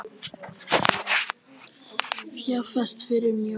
Fjárfest fyrir fjóra milljarða